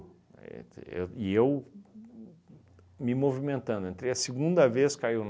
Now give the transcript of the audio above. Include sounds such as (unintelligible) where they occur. (unintelligible) E eu me movimentando, entrei a segunda vez, caiu.